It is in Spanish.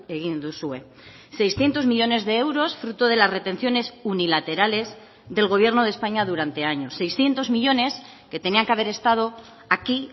egin duzue seiscientos millónes de euros fruto de las retenciones unilaterales del gobierno de españa durante años seiscientos millónes que tenían que haber estado aquí